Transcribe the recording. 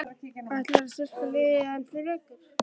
Ætlarðu að styrkja liðið enn frekar?